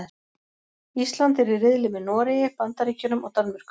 Ísland er í riðli með Noregi, Bandaríkjunum og Danmörku.